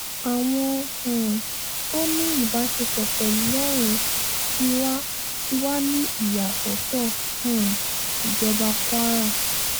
àwọn um tó ní ìbáṣepọ̀ pẹ̀lú lọ́run ti wà ti wà ní ìyàsọ́tọ̀ um ìjọba kwara